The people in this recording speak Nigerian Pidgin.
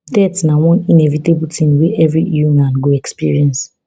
death na one inevitable tin wey evri human go experience